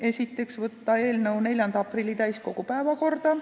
Esiteks otsustati saata eelnõu 4. aprilliks täiskogu päevakorda.